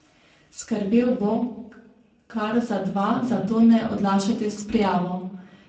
Skrbel bo kar za dva, zato ne odlašajte s prijavo!